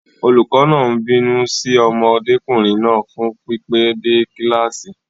Olùkọ́ náà ń bínú sí ọmọdékùnrin náà fún pípẹ́ dé kíláàsì.